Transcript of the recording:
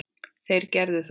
Þeir gerðu það.